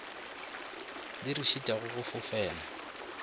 di re šitišago go fofela